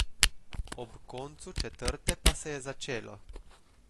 Ob koncu četrte pa se je začelo.